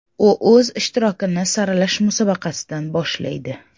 U o‘z ishtirokini saralash musobaqasidan boshlaydi.